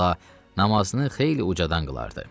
Əvvəla namazını xeyli ucadan qılardı.